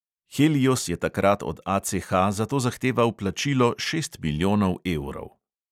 Helios je takrat od ACH zato zahteval plačilo šest milijonov evrov.